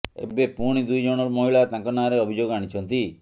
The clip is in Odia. ଏବେ ପୁଣି ଦୁଇ ଜଣ ମହିଳା ତାଙ୍କ ନାଁରେ ଅଭିଯୋଗ ଆଣିଛନ୍ତି